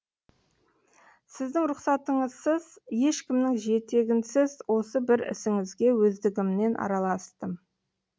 сіздің рұхсатыңызсыз ешкімнің жетегінсіз осы бір ісіңізге өздігімнен араластым